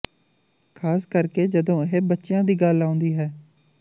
ਖ਼ਾਸ ਕਰਕੇ ਜਦੋਂ ਇਹ ਬੱਚਿਆਂ ਦੀ ਗੱਲ ਆਉਂਦੀ ਹੈ